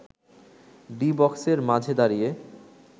D বক্সের মাঝে দাঁড়িয়ে